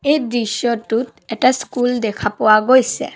এই দৃশ্যটোত এটা স্কুল দেখা পোৱা গৈছে।